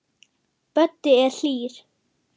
Böddi er hlýr.